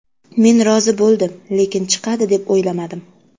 Men rozi bo‘ldim, lekin chiqadi deb o‘ylamadim.